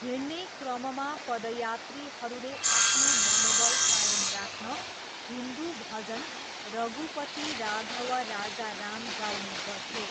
हिँड्ने क्रममा पदयात्रीहरूले आफ्नो मनोबल कायम राख्न हिन्दु भजन रघुपति राघव राजा राम गाउने गर्थे।